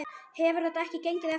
Hefur þetta ekki gengið eftir?